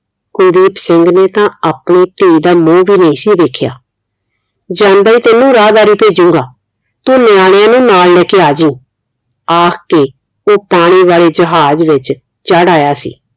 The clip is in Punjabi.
ਕੁਲਦੀਪ ਸਿੰਘ ਨੇ ਤਾ ਆਪਣੀ ਧੀ ਦਾ ਮੂੰਹ ਵੀ ਨਹੀਂ ਸੀ ਵੇਖਿਆ ਜਾਂਦਾ ਹੀ ਤੈਨੂੰ ਰਾਹ ਵਾਰੇ ਭੇਜੂੰਗਾ ਤੂੰ ਨਿਆਣਿਆਂ ਨੂੰ ਨਾਲ ਲੈਕੇ ਆਜੀ ਆਕੇ ਉਹ ਪਾਣੀ ਵਾਲੇ ਜਹਾਜ਼ ਵਿਚ ਚੜ੍ਹ ਆਇਆ ਸੀ